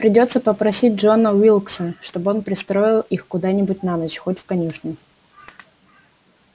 придётся попросить джона уилкса чтобы он пристроил их куда-нибудь на ночь хоть в конюшню